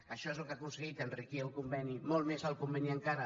això és el que ha aconseguit enriquir el conveni molt més el conveni encara